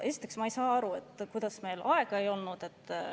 Ma ei saa aru, kuidas meil aega ei olnud.